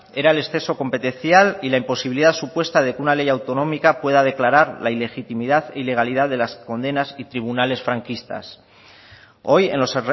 era el exceso competencial y la imposibilidad supuesta de que una ley autonómica pueda declarar la ilegitimidad e ilegalidad de las condenas y tribunales franquistas hoy en los